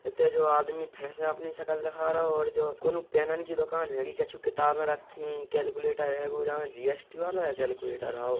हिते जो आदमी फेर से अपनी शकल दिखा रहयो और जो कोनु पेनन के दुकान हैगी| कछु किताबें रक्खीं | कैलकुलेटर हेगो जी.एस.टी. वाला कैलकुलेटर हाउ।